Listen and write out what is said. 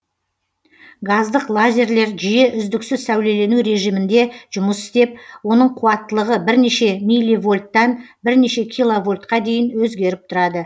газдық лазерлер жиі үздіксіз сәулелену режимінде жұмыс істеп оның қуаттылығы бірнеше милливольттан бірнеше киловольтқа дейін өзгеріп тұрады